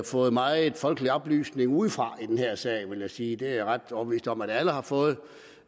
fået meget folkelig oplysning udefra i den her sag vil jeg sige det er jeg ret overbevist om at alle har fået